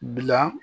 Bila